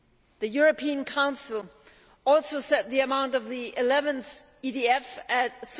The European Council also set the amount of the 11th EDF at EUR